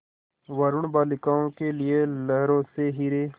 वरूण बालिकाओं के लिए लहरों से हीरे